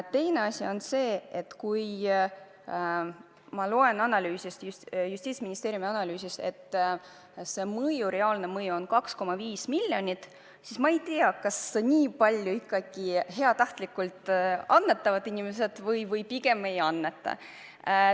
Teine asi on see, et kui ma loen Justiitsministeeriumi analüüsist, et palgatõusu reaalne mõju on 2,5 miljonit, siis ma ei tea, kas inimesed ikkagi heast tahtest nii palju annetavad või pigem ei anneta.